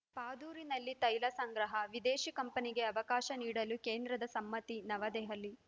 ಪಾದೂರಿನಲ್ಲಿ ತೈಲ ಸಂಗ್ರಹ ವಿದೇಶಿ ಕಂಪನಿಗೆ ಅವಕಾಶ ನೀಡಲು ಕೇಂದ್ರದ ಸಮ್ಮತಿ ನವದೆಹಲಿ